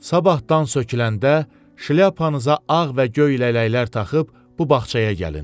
Sabahtdan söküləndə şlyapanıza ağ və göy lələklər taxıb bu bağçaya gəlin.